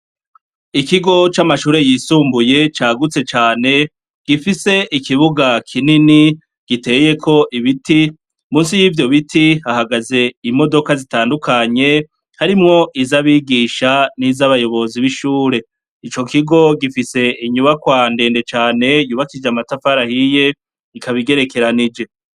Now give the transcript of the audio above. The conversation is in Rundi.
Ikigo c'amashure yisumbuye cagutse cane gifise ikibuga kinini giteyeko ibiti munsi yivyo biti hahagaze imodoka zitandukanye harimwo izabigisha nizabayobozi bishure ico kigo gifise inyubakwa ndende cane yubakishije amatafari ahiye ikaba igerekeranije .